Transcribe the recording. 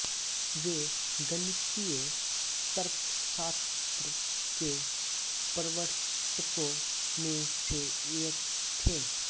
वे गणितीय तर्कशास्त्र के प्रवर्तकों में से एक थे